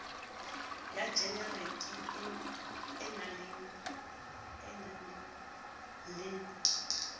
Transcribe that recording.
ya jenerike e na le